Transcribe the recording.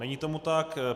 Není tomu tak.